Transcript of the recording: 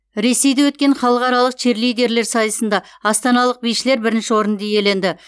ресейде өткен халықаралық черлидерлер сайысында астаналық бишілер бірінші орынды иеленді